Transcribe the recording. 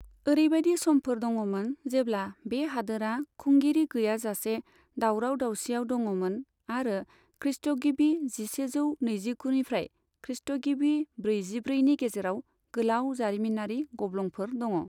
ओरैबायदि समफोर दङमोन, जेब्ला बे हादोरा खुंगिरि गैयाजासे दावराव दावसियाव दङमोन, आरो खृष्टगिबि जिसेजौ नैजिगु निफ्राय खृष्टगिबि ब्रैजिब्रैनि गेजेराव गोलाव जारिमिनारि गब्लंफोर दङ।